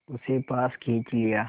उसे पास खींच लिया